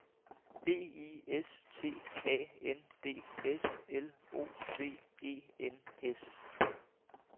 B I S T A N D S L O V E N S